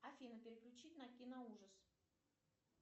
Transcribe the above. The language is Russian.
афина переключить на кино ужас